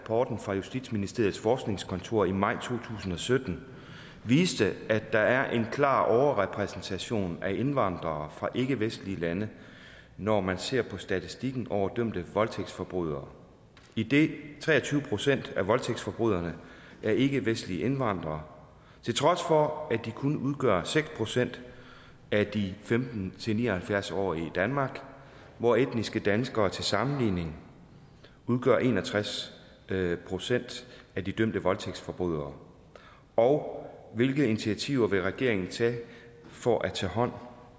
rapporten fra justitsministeriets forskningskontor i maj to tusind og sytten viste at der er en klar overrepræsentation af indvandrere fra ikkevestlige lande når man ser på statistikken over dømte voldtægtsforbrydere idet tre og tyve procent af voldtægtsforbryderne er ikkevestlige indvandrere til trods for at de kun udgør seks procent af de femten til ni og halvfjerds årige i danmark hvor etniske danskere til sammenligning udgør en og tres procent af de dømte voldtægtsforbrydere og hvilke initiativer vil regeringen tage for at tage hånd